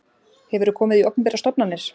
Hefurðu komið í opinberar stofnanir?